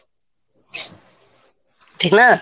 ঠিক না?